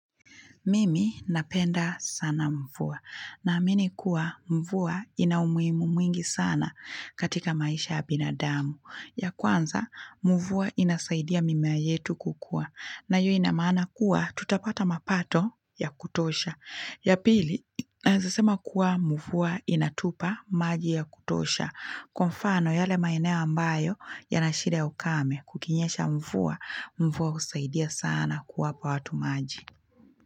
Mimi napenda sana mvuwa, na amini kuwa mvuwa ina umuimu mwingi sana katika maisha abinadamu. Ya kwanza, mvuwa inasaidia mimea yetu kukua, na yu inamana kuwa tutapata mapato ya kutosha. Ya pili, naezsema kuwa mvuwa inatupa maji ya kutosha, kumfano yale maeneo ambayo yanashida ya ukame kukinyesha mvuwa, mvuwa usaidia sana kuwa pa watu maji.